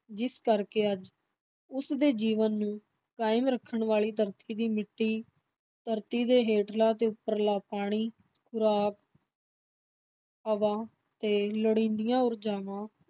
ਜਿਸ ਕਰਕੇ ਅੱਜ ਉਸ ਦੇ ਜੀਵਨ ਨੂੰ ਕਾਇਮ ਰੱਖਣ ਵਾਲੀ ਧਰਤੀ ਦੀ ਮਿੱਟੀ, ਧਰਤੀ ਦੇ ਹੇਠਲਾ ਤੇ ਉੱਪਰਲਾ ਪਾਣੀ, ਖੁਰਾਕ ਹਵਾ ਤੇ ਲੋੜੀਂਦੀਆਂ ਊਰਜਾਵਾਂ